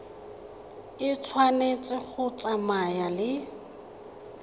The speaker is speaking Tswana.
e tshwanetse go tsamaya le